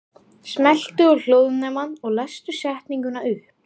GVENDUR: Skúli er búinn að vera.